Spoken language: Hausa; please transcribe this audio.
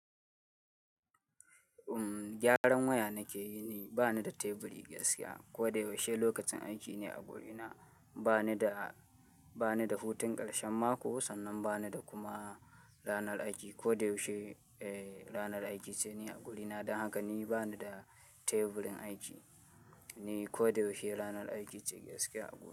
Umm, gyaran waya nake yi ne, bani da teburi gaskiya. Ko da yaushe lokacin aiki ne a guri na. Bani da, bani da hutun karshen mako sannan bani da kuma ranar aiki. Ko da yaushe, eh ranar aiki ce ni a guri na. Don haka ni bani da teburin aiki ne. Ko da yaushe ranar aiki ce gaskiya a guri na.